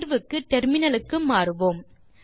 தீர்வுக்கு டெர்மினலுக்கு மாறுவோம்